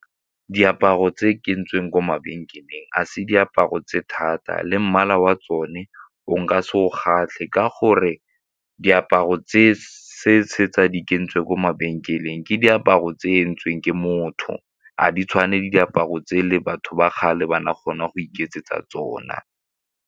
Diaparo tse ke ntseng ko mabenkeleng a se diaparo tse thata le mmala wa tsone o nka se o kgatlhe ka gore diaparo tse ko mabenkeleng ke diaparo entsweng ke motho ga di tshwane le diaparo tse le batho ba kgale ba na kgona go iketsetsa tsona.